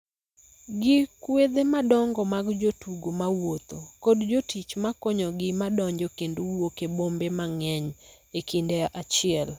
gi kwedhe madongo mag jotugo ma wuotho ??kod jotich ma konyogi ma donjo kendo wuok e bombe mang�eny e kinde achiel